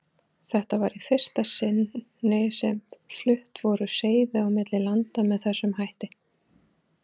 Þetta var í fyrsta sinni sem flutt voru seiði á milli landa með þessum hætti.